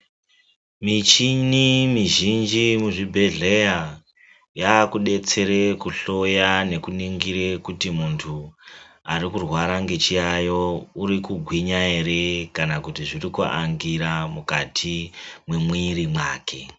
Michini mizhinji yemuzvibhedhlera yakudetsera kuhloya nekuningira kuti muntu arikurwara nechiyayo uri kugwinya ere kana kuti zviri kutangira mukati memwiri make.